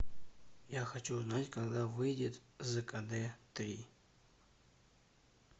я хочу узнать когда выйдет зкд три